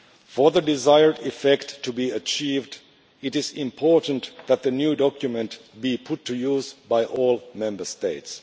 For the desired effect to be achieved, it is important that the new document be put to use by all Member States.